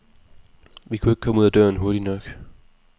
Vi kunne ikke komme ud af døren hurtigt nok.